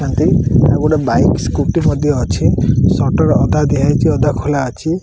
ତାଠି ଆଉ ଗୋଟେ bike scooty ମଧ୍ୟ ଅଛି ସଟର ଅଧା ଦିଆହେଇ ଅଧା ଖୋଲା ଅଛି।